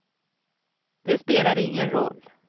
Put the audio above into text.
Det spelade ingen roll.